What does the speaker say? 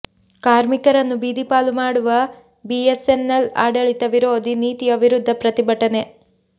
ಕಾರ್ಮಿಕರನ್ನು ಬೀದಿಪಾಲು ಮಾಡುವ ಬಿಎಸ್ಎನ್ಎಲ್ ಆಡಳಿತ ವಿರೋಧಿ ನೀತಿಯ ವಿರುದ್ಧ ಪ್ರತಿಭಟನೆ